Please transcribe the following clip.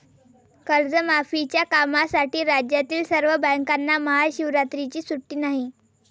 कर्जमाफीच्या कामासाठी राज्यातील सर्व बँकांना महाशिवरात्रीची सुट्टी नाही